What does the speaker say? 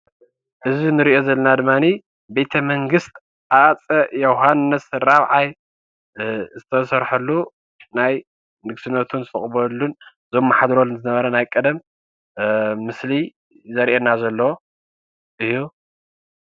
እዚ እንሪኦ ዘለና ድማኒ ቤተ መንግስት ሃፀይ ዮውሃንስ ራብዓይ ዝተሰርሐሉ ናይ ንግስነቶም ዝተቀበለሉን ዘማሕድረሉን ዝነበረን ናይ ቀደም ምስሊ ዘርእየና ዘሎ እዩ።